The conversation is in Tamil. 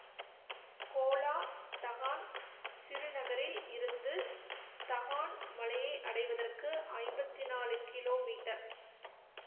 கோலா தகான் சிறுநகரில் இருந்து தகான் மலையை அடைவதற்கு ஐம்பத்தி நான்கு கிலோமீட்டர்